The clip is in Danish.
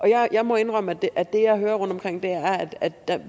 jeg må indrømme at det jeg hører rundtomkring